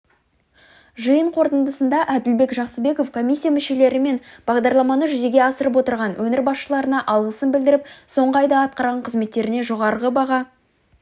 жиын қортындысында әділбек жақсыбеков комиссия мүшелері мен бағдарламаны жүзеге асырып отырған өңір басшыларына алғысын білдіріп соңғы айда атқарған қызметтеріне жоғары баға